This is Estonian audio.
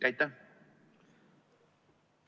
Aitäh!